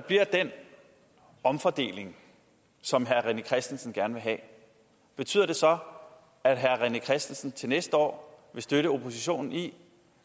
bliver den omfordeling som herre rené christensen gerne vil have betyder det så at herre rené christensen til næste år vil støtte oppositionen i